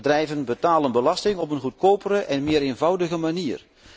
Bedrijven betalen belasting op een goedkopere en meer eenvoudige manier.